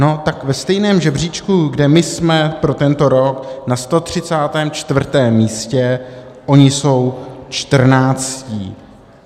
No tak ve stejném žebříčku, kde my jsme pro tento rok na 134. místě, oni jsou čtrnáctí.